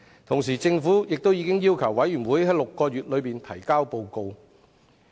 同時，政府亦已要求調查委員會在6個月內提交報告。